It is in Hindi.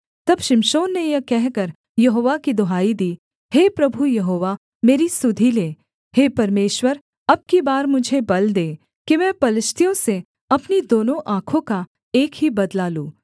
तब शिमशोन ने यह कहकर यहोवा की दुहाई दी हे प्रभु यहोवा मेरी सुधि ले हे परमेश्वर अब की बार मुझे बल दे कि मैं पलिश्तियों से अपनी दोनों आँखों का एक ही बदला लूँ